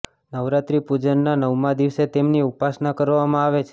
નવરાત્રી પૂજનના નવમાં દિવસે તેમની ઉપાસના કરવામાં આવે છે